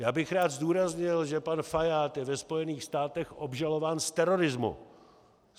Já bych rád zdůraznil, že pan Fajád je ve Spojených stádech obžalován z terorismu.